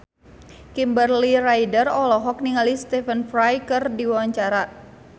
Kimberly Ryder olohok ningali Stephen Fry keur diwawancara